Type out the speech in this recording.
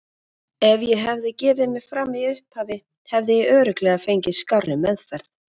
Ef ég hefði gefið mig fram í upphafi hefði ég örugglega fengið skárri meðferð.